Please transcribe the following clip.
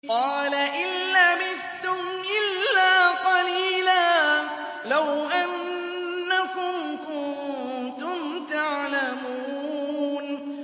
قَالَ إِن لَّبِثْتُمْ إِلَّا قَلِيلًا ۖ لَّوْ أَنَّكُمْ كُنتُمْ تَعْلَمُونَ